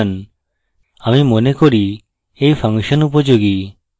আমি মনে করি এই ফাংশন উপযোগী